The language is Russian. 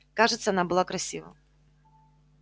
кажется она была красива